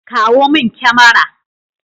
Kawo min kyamara.